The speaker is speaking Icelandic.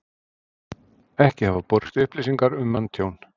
Ekki hafa borist upplýsingar um manntjón